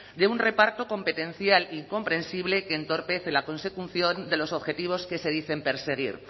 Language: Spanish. de un reparto competencial y comprensible que entorpece la consecución de los objetivos que se dicen perseguir